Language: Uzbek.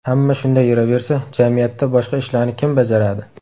Hamma shunday yuraversa, jamiyatda boshqa ishlarni kim bajaradi?